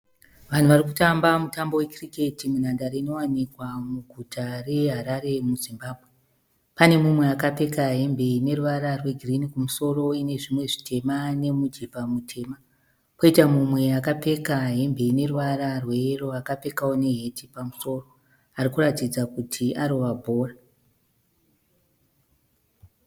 Vanhu varikutamba mutambo we cricket munhandare inowanikwa muguta reHarare muZimbabwe. Pane mumwe akapfeka hembe ine ruvara rwegirinhi kumusoro ine zvimwe zvitema nemujibha mutema. Poitawo mumwe akapfeka hembe ine ruvara rwe yero akapfekawo neheti pamusoro arikuratidza kuti arova bhora.